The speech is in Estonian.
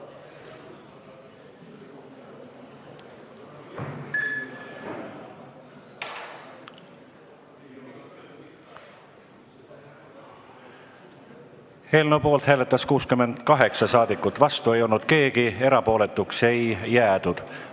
Hääletustulemused Eelnõu poolt hääletas 68 saadikut, vastu ei olnud keegi, erapooletuks ei jäädud.